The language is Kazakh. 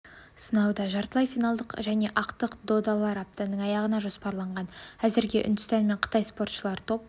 сынауда жартылай финалдық және ақтық додалар аптаның аяғына жоспарланған әзірге үндістан мен қытай спортшылары топ